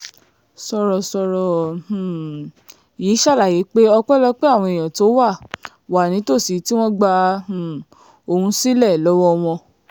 sọ̀rọ̀sọ̀rọ̀ um yìí ṣàlàyé pé ọpẹ́lọpẹ́ àwọn èèyàn tó wà wà nítòsí tí wọ́n gba um òun sílẹ̀ lọ́wọ́ wọn